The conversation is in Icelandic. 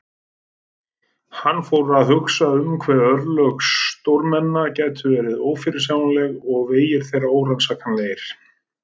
Hann fór að hugsa um hve örlög stórmenna gætu verið ófyrirsjáanleg og vegir þeirra órannsakanlegir.